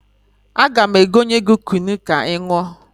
Aga m egonye gị kunu ka ị ṅụọ.